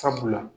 Sabula